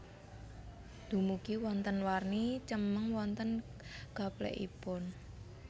Dumugi wonten warni cemeng wonten gaplèkipun